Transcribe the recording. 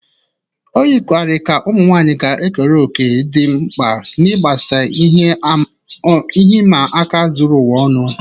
O yikarịrị ka ụmụ nwanyị ga-ekere òkè dị mkpa n'ịgbasa ihe ịma aka zuru ụwa ọnụ.